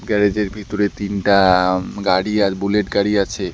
Garage -এর ভিতরে তিনটা উম গাড়ি আর বুলেট গাড়ি আছে।